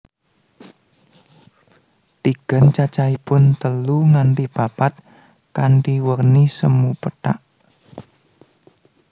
Tigan cacahipun telu nganti papat kanthi werni semu pethak